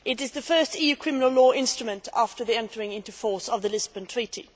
This is the first EU criminal law instrument after the entry into force of the Lisbon Treaty.